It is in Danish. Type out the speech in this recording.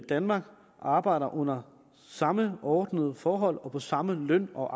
danmark arbejder under samme ordnede forhold og på samme løn og